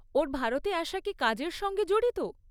ওর ভারতে আসা কি কাজের সঙ্গে জড়িত?